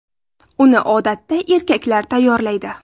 Uni odatda erkaklar tayyorlaydi.